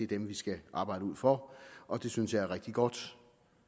dem vi skal arbejde ud fra og det synes jeg er rigtig godt